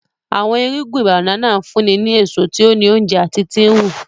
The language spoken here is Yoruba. Awọn irugbin banana nfunni ni eso ti o ni ounjẹ ati ti nhu.